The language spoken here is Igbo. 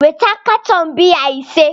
weta katọn biya ise!